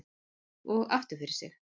Og aftur fyrir sig.